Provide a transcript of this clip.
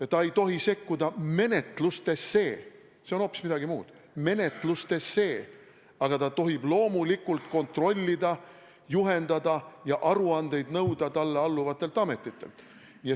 Et ta ei tohi sekkuda menetlustesse, see on hoopis midagi muud – menetlustesse –, aga ta tohib loomulikult kontrollida, juhendada ja nõuda talle alluvatelt ametitelt aruandeid.